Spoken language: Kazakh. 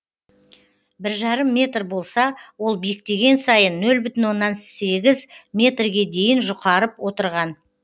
бір жарым метр болса ол биіктеген сайын нөл бүтін оннан сегіз метрге дейін жұқарып отырған